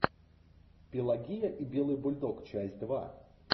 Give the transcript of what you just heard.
пелагея и белый бульдог часть два